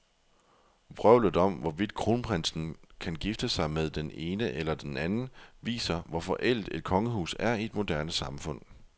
Vrøvlet om, hvorvidt kronprinsen kan gifte sig med den ene eller den anden, viser, hvor forældet et kongehus er i et moderne samfund.